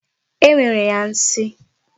E mere ya nsi.